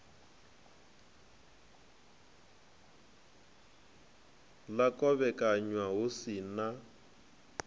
ḽa kovhekanywa hu si na